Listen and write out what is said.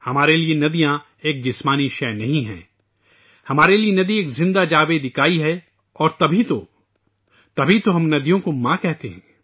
ہمارے لیے ندیاں ایک طبعی شئے نہیں ہے، ہمارے لیے ندی ایک زندہ اکائی ہے اور اسی لیے ہم ندیوں کو ماں کہتے ہیں